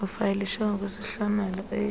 ufayilishe ngokwesihlomelo e